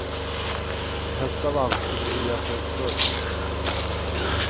Helst av allt skulle hon vilja ta ut förtidspension.